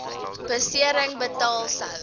besering betaal sou